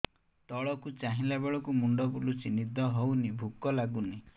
ତଳକୁ ଚାହିଁଲା ବେଳକୁ ମୁଣ୍ଡ ବୁଲୁଚି ନିଦ ହଉନି ଭୁକ ଲାଗୁନି